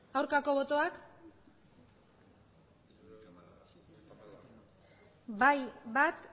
aurkako botoak bai bat